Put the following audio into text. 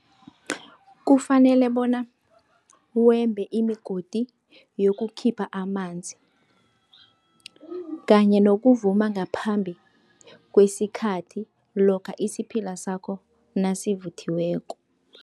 Kufanele bona wembe imigodi yokukhipha amanzi, kanye nokuvuma ngaphambi kwesikhathi lokha isiphila sakho nasivuthiweko.